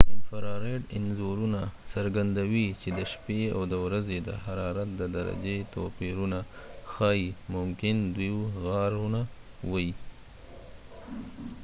انفراریډ انځورونه څرګندوي چې د شپې او ورځې د حرارت د درجې توپیرونه ښایي ممکن دوۍ غارونه وي